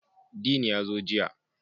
Dean ya zo jiya